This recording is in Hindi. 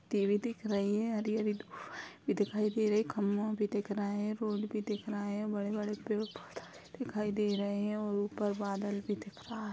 टी.वी. दिख रही है हरी हरी दिखाई दे रही है। खम्भा भी दिखाई दे रहा है। रोड भी दिख रहा है बड़े बड़े पेड़ पोधे दिखाई दे रहे है और ऊपर बादल भी दिख रहा है।